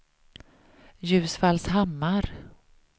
Ljusfallshammar